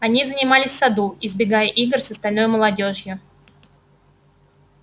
они занимались в саду избегая игр с остальной молодёжью